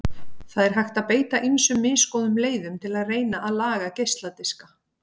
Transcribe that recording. Það er hægt að beita ýmsum misgóðum leiðum til að reyna að laga geisladiska.